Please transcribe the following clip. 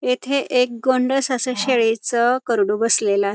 येथे एक गोंडस अस शेळीच करडू बसलेलय.